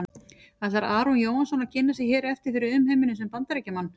Ætlar Aron Jóhannsson að kynna sig hér eftir fyrir umheiminum sem Bandaríkjamann?